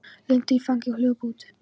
Lindu í fangið og hljóp út.